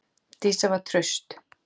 Dísa var traust.